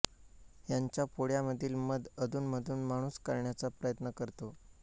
यांच्या पोळ्यामधील मध अधूनमधून माणूस काढण्याचा प्रयत्न करतो